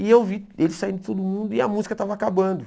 E eu vi ele saindo todo mundo e a música estava acabando.